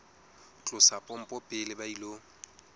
tlosa pompo pele ba ilo